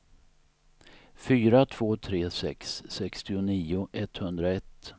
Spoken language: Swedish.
fyra två tre sex sextionio etthundraett